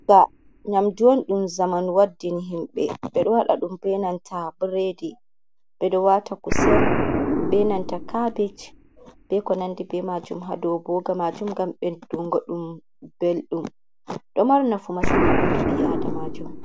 Ndaa nyamndu ɗum zamanu waddini himɓe, ɓedo waɗa ɗum bee nanta bredi, ɓedo wata kusel bee nanta cabeeji bee ko nanndi bee maajum hadou booga majum, ngam ɓedungo ɗum belɗum ɗo mari nafu masin haa ɓanndu ɓii. aadamaajo.